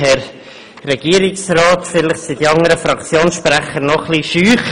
Vielleicht sind die anderen Fraktionssprecher noch etwas schüchtern.